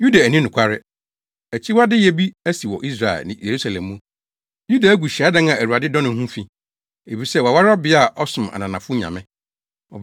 Yuda anni nokware. Akyiwadeyɛ bi asi wɔ Israel ne Yerusalem mu: Yuda agu hyiadan a Awurade dɔ no ho fi, efisɛ waware ɔbea a ɔsom ananafo nyame.